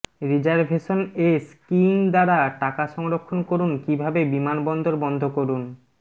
reservation এ skiing দ্বারা টাকা সংরক্ষণ করুন কিভাবে বিমানবন্দর বন্ধ করুন